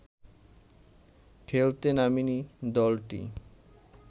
খেলতে নামেনি দলটি